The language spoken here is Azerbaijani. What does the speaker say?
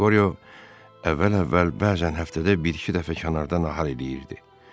Qoryo əvvəl-əvvəl bəzən həftədə bir-iki dəfə kənarda nahar eləyirdi.